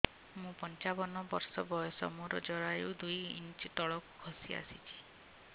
ମୁଁ ପଞ୍ଚାବନ ବର୍ଷ ବୟସ ମୋର ଜରାୟୁ ଦୁଇ ଇଞ୍ଚ ତଳକୁ ଖସି ଆସିଛି